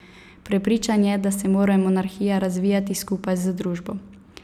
Prepričan je, da se mora monarhija razvijati skupaj z družbo.